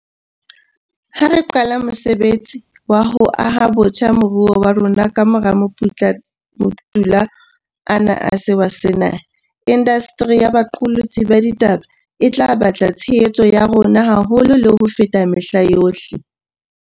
Ha re qala mosebetsi wa ho aha botjha moruo wa rona kamora maputula ana a sewa sena, indasteri ya boqolotsi ba ditaba e tla batla tshehetso ya rona haholo le ho feta mehla yohle.